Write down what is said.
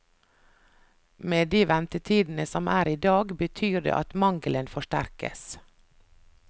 Med de ventetidene som er i dag, betyr det at mangelen forsterkes.